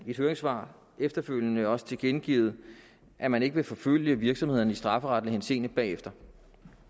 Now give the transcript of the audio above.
et høringssvar efterfølgende også tilkendegivet at man ikke vil forfølge virksomhederne i strafferetlig henseende bagefter